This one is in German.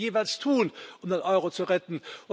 Was müssen wir jeweils tun, um den Euro zu retten?